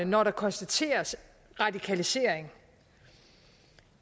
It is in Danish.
når der konstateres radikalisering